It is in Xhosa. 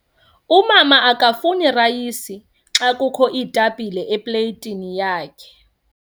Umama akafuni rayisi xa kukho iitapile epleyitini yakhe.